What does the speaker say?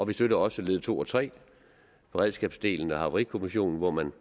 vi støtter også led to og tre beredskabsdelen og havarikommissionen hvor man